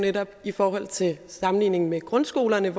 netop i forhold til sammenligning med grundskolerne